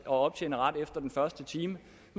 optjene ret efter den første time